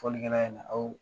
Fɔli kɛnɛya in na aw